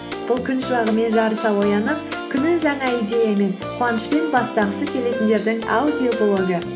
бұл күн шуағымен жарыса оянып күнін жаңа идеямен қуанышпен бастағысы келетіндердің аудиоблогы